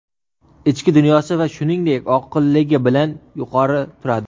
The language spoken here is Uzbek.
ichki dunyosi va shuningdek oqilligi bilan yuqori turadi.